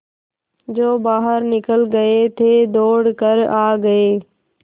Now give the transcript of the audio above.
जो बाहर निकल गये थे दौड़ कर आ गये